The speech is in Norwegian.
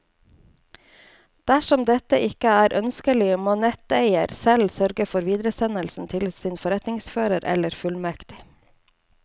Dersom dette ikke er ønskelig, må netteier selv sørge for videresendelse til sin forretningsfører eller fullmektig.